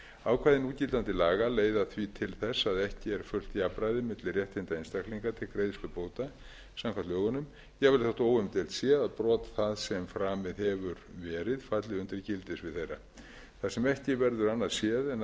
ákvæði núgildandi laga leiða því til þess að ekki er fullt jafnræði milli réttinda einstaklinga til greiðslu bóta samkvæmt lögunum jafnvel þó óumdeilt sé að brot það sem framið hefur verið falli undir gildissvið þeirra þar sem ekki verður annað séð en að þau